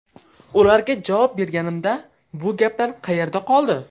Ularga javob berganimda bu gaplar qayerda qoldi?